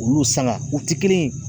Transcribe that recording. Olu saŋa u ti kelen ye.